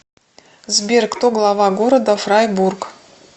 сбер кто глава города фрайбург